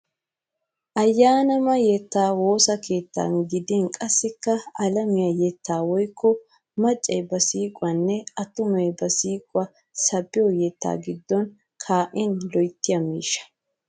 Ayyaanaama yettaa woossa keettan godin qassikka alamiya yettaa woyikko maccay ba siiqiyonne attumay ba siiqiwa sabbiyo yettaa giddon kaa'in loyittiya miishshaa.